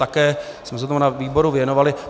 Také jsme se tomu na výboru věnovali.